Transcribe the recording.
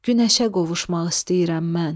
Günəşə qovuşmaq istəyirəm mən.